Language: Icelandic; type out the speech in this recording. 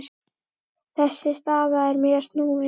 Þessi staða er mjög snúin.